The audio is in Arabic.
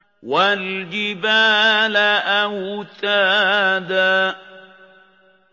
وَالْجِبَالَ أَوْتَادًا